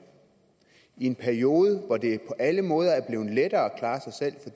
i en periode hvor det på alle måder er blevet lettere at klare sig selv